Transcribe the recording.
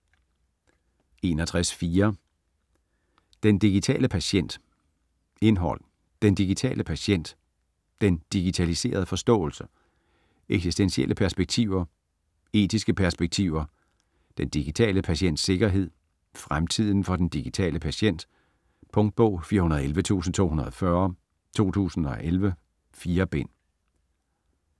61.4 Den digitale patient Indhold: Den digitale patient ; Den digitaliserede forståelse ; Eksistentielle perspektiver ; Etiske perspektiver ; Den digitale patients sikkerhed ; Fremtiden for den digitale patient. Punktbog 411240 2011. 4 bind.